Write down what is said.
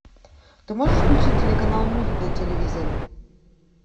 ты можешь включить телеканал мульт на телевизоре